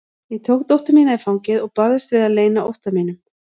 Ég tók dóttur mína í fangið og barðist við að leyna ótta mínum.